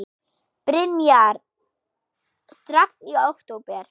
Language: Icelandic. Brynja: Strax í október?